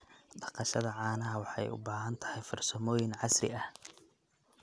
Dhaqashada caanaha waxay u baahan tahay farsamooyin casri ah.